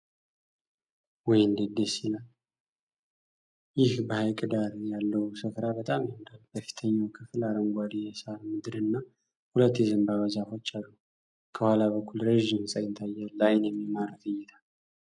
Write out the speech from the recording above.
ውይ እንዴት ደስ ይላል! ይህ በሐይቅ ዳር ያለው ስፍራ በጣም ያምራል! በፊተኛው ክፍል አረንጓዴ የሳር ምድርና ሁለት የዘንባባ ዛፎች አሉ። ከኋላ በኩል ረጅም ሕንፃ ይታያል። ለአይን የሚማርክ እይታ!